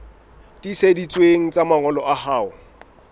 tiiseditsweng tsa mangolo a hao